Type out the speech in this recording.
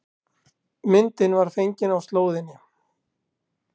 Myndin var fengin á slóðinni